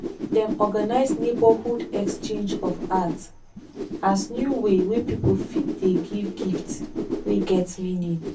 dem organize neighborhood exchange of art as new way wey pipo fit dey give gift wey get meaning.